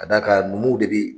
ka d"a kan numuw de bi